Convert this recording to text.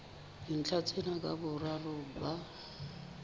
dintlha tsena ka boraro ba